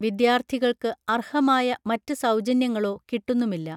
വിദ്യാർത്ഥികൾക്ക് അർഹമായ മറ്റ് സൗജന്യങ്ങളോ കിട്ടുന്നുമില്ല